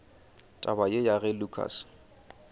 taba ye ya ge lukas